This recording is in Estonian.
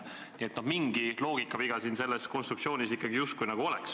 Nii et mingi loogikaviga selles konstruktsioonis ikkagi justkui on.